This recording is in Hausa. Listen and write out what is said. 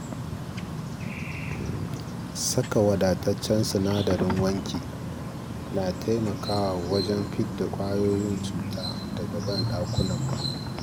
Saka wadataccen sinadarin wanki na taimakawa wajen fidda ƙwayoyin cuta daga ban ɗakunanmu.